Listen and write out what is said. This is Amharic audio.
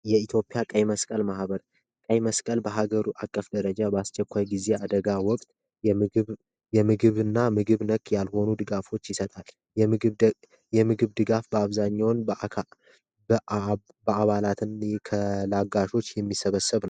የኢትዮጵያ ቀይ መስቀል ማህበር ቀይ መስቀል በአገር አቀፍ ደረጃ በአስቸኳይ ጊዜ ወቅት የምግብና ምግብ ነክ ያልሆኑ ጉዳዮች ድጋፍ ይሰጣል የምግብ ድጋፍ በአብዛኛው በአባላት አጋሮች የሚሰበሰብ ነው።